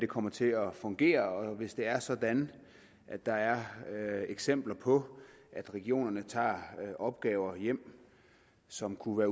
kommer til at fungere og hvis det er sådan at der er eksempler på at regionerne tager opgaver hjem som kunne